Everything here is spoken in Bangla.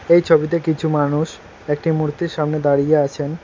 এই ছবিতে কিছু মানুষ একটি মূর্তির সামনে দাঁড়িয়ে আছেন।